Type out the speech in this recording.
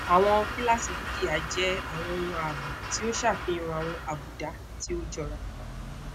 awọn kilasi dukia jẹ awọn ohun aabo ti o ṣafihan awọn abuda ti o jọra